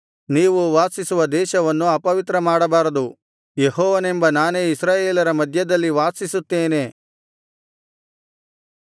ನೀವು ವಾಸಿಸುವ ದೇಶವನ್ನು ಅಪವಿತ್ರಮಾಡಬಾರದು ಯೆಹೋವನೆಂಬ ನಾನೇ ಇಸ್ರಾಯೇಲರ ಮಧ್ಯದಲ್ಲಿ ವಾಸಿಸುತ್ತೇನೆ